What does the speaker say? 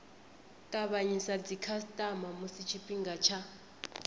tavhanyisa dzikhasitama musi tshifhinga tsha